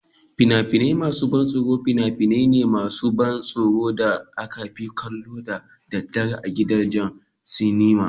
Fina-finai masu ban tsoro fina-finai ne masu ban tsoro da aka fi kallo da daddare a gidajen sinima.